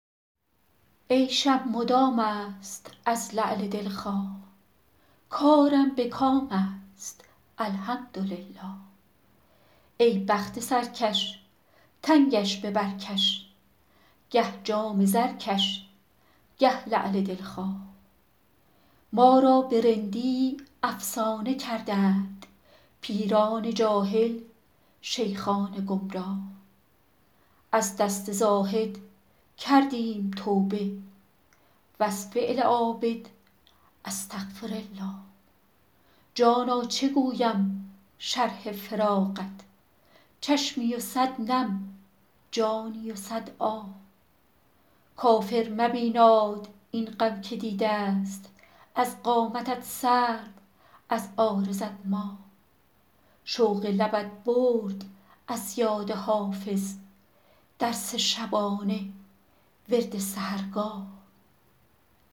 عیشم مدام است از لعل دل خواه کارم به کام است الحمدلله ای بخت سرکش تنگش به بر کش گه جام زرکش گه لعل دل خواه ما را به رندی افسانه کردند پیران جاهل شیخان گمراه از دست زاهد کردیم توبه و از فعل عابد استغفرالله جانا چه گویم شرح فراقت چشمی و صد نم جانی و صد آه کافر مبیناد این غم که دیده ست از قامتت سرو از عارضت ماه شوق لبت برد از یاد حافظ درس شبانه ورد سحرگاه